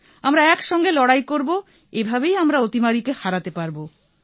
আমরা এক সঙ্গে লড়াই করব এভাবেই আমরা অতিমারীকে হারাতে পারব